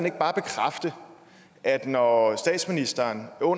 ikke bare bekræfte at når statsministeren på